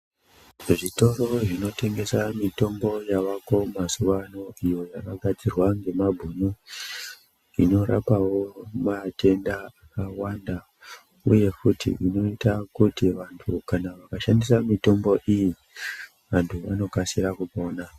Zvitoro zvinotengesa mitombo yavako mazuwano iyo yakagadzirwa ngemabhunu inorapawo matenda akawanda uye futi inoita kuti kana vantu vakashandisa mitombo iyi vanokasira kupona.